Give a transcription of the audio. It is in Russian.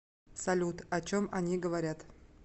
салют о чем они говорят